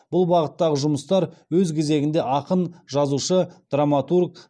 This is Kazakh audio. бұл бағыттағы жұмыстар өз кезегінде ақын жазушы драматург